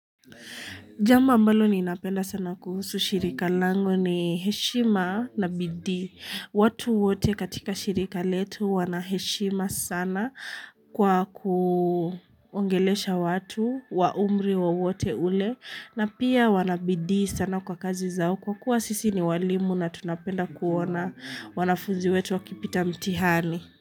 Jambo ambalo ninapenda sana kuhusu shirika langu ni heshima na bidii watu wote katika shirika letu wanaheshima sana kwa kuongelesha watu wa umri wa wote ule na pia wanabidii sana kwa kazi zao kwa kuwa sisi ni walimu na tunapenda kuona wanafunzi wetu wakipita mitihani.